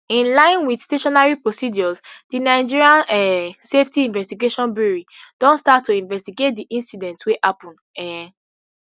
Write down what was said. in line wit statutory procedures di nigerian um safety investigation bureau don start to investigate di incident wey happun um